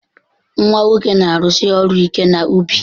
Nwa nwoke na-arụsi ọrụ ike nọ n'ubi.